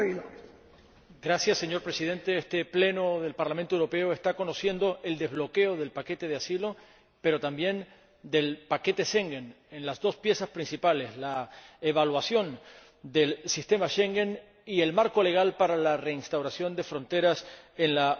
Señor Presidente, este Pleno del Parlamento Europeo está presenciando el desbloqueo del paquete de asilo, pero también del paquete Schengen, en sus dos piezas principales la evaluación del sistema Schengen y el marco legal para la reinstauración de fronteras en la Unión Europea.